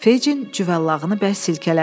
Fecin cüvəllağını bərk silkələdi.